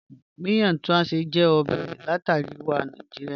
Miyan Tuashe jẹ ọbẹ̀ lati Aríwà Nàìjíríà.